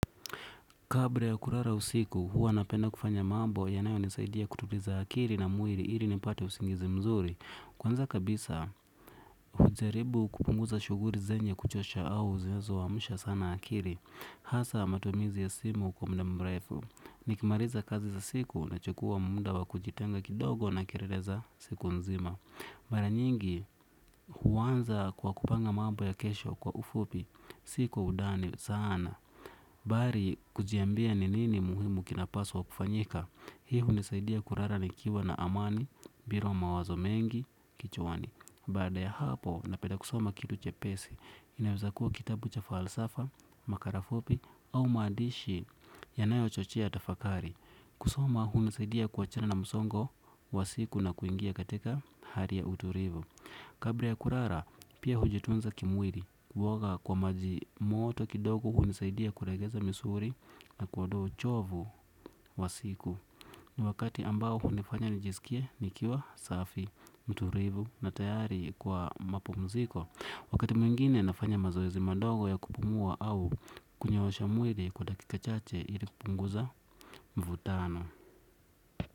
Kabla ya kulala usiku, huwa napenda kufanya mambo yanayonisaidia kutuliza akili na mwili ili nipate usingizi mzuri. Kwanza kabisa, hujaribu kupunguza shughuli zenye kuchosha au zinazoamsha sana akili. Hasa matumizi ya simu kwa muda mrefu. Nikimaliza kazi za siku nachukua muda wa kujitenga kidogo na kelele za siku nzima. Mara nyingi, huanza kwa kupanga mambo ya kesho kwa ufupi, si kwa undani sana. Bali kujiambia ni nini muhimu kinapaswa kufanyika. Hii hunisaidia kulala nikiwa na amani, bila mawazo mengi, kichwani. Baada ya hapo napenda kusoma kitu chepesi. Inaweza kuwa kitabu cha falsafa, makala fupi au maandishi yanayochochea tafakari. Kusoma hunisaidia kuachana na msongo wa siku na kuingia katika hali ya utulivu. Kabla ya kulala pia hujitunza kimwili kuoga kwa maji moto kidogo hunisaidia kulegeza misuli na kuondoa uchovu wa siku. Ni wakati ambao hunifanya nijisikie nikiwa safi mtulivu na tayari kwa mapumziko. Wakati mwingine nafanya mazoezi madogo ya kupumua au kunyoosha mwili kwa dakika chache ili kupunguza mvutano.